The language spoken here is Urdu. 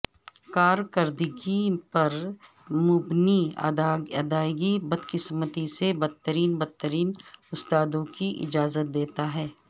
کارکردگی پر مبنی ادائیگی بدقسمتی سے بدترین بدترین استادوں کی اجازت دیتا ہے